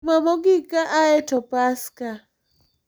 Juma mogik ka aye to Paska,